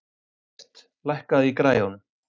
Evert, lækkaðu í græjunum.